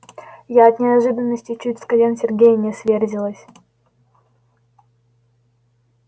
я от неожиданности чуть с колен сергея не сверзилась